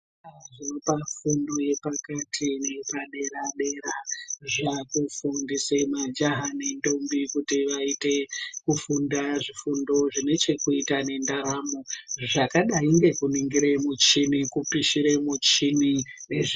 Zvikora zvinopa fundo yepakati neyepadera-dera zvaakufundise majaha nendombi kuti vaite kufunda zvifundo zvine chekuita nendaramo, zvakadai nekuningire muchini, kupishire muchini nezvei.....